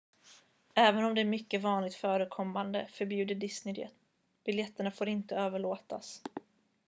även om det är mycket vanligt förekommande förbjuder disney det biljetterna får inte överlåtas